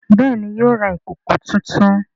Béèni yóò rà ìkọkọ títún.